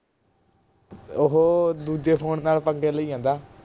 ਓਹੋ ਦੂਜੇ ਫੋਨ ਨਾਲ ਪੰਗੇ ਲਈ ਜਾਂਦਾ